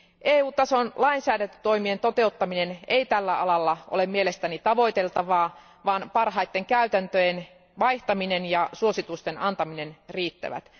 EU tason lainsäädäntötoimien toteuttaminen ei tällä alalla ole mielestäni tavoiteltavaa, vaan parhaiden käytäntöjen vaihtaminen ja suositusten antaminen riittävät.